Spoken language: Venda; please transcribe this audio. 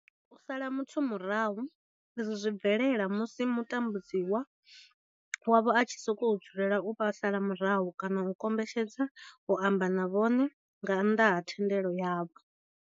U sala muthu murahu izwi zwi bvelela musi mutambudzi wavho a tshi sokou dzulela u vha sala murahu kana a kombetshedza u amba na vhone nga nnḓa ha thendelo yavho.